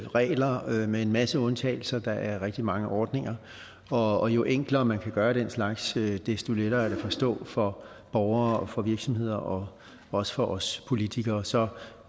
regler med en masse undtagelser og der er rigtig mange ordninger og jo enklere man kan gøre den slags desto lettere er det at forstå for borgere og virksomheder og også for os politikere så